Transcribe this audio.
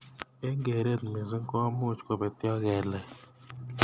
Eng keret missing komuch kobetyo kelek.